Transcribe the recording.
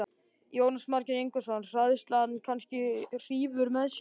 Jónas Margeir Ingólfsson: Hræðslan kannski hrífur með sér?